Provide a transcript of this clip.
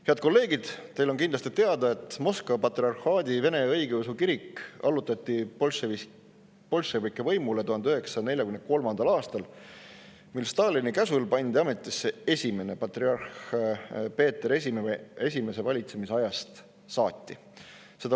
Head kolleegid, teile on kindlasti teada, et Moskva Patriarhaadi Vene Õigeusu Kirik allutati bolševike võimule 1943. aastal, mil Stalini käsul pandi ametisse esimene patriarh Peeter I valitsemisajast saati.